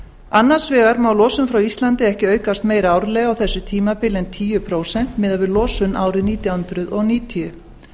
annars vegar má losun frá íslandi ekki aukast meira árlega á þessu tímabili en tíu prósent miðað við losun árið nítján hundruð níutíu